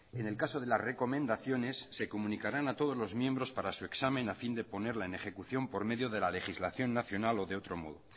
en el caso de las recomendaciones se comunicarán a todos los miembros para su examen a fin de ponerla en ejecución por medio de la legislación nacional o de otro modo